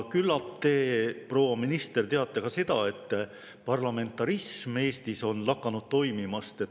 Küllap te, proua minister, teate ka seda, et parlamentarism Eestis on lakanud toimimast.